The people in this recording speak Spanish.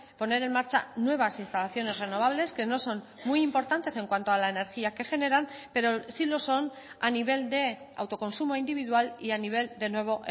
poner en marcha nuevas instalaciones renovables que no son muy importantes en cuanto a la energía que generan pero sí lo son a nivel de autoconsumo individual y a nivel de nuevo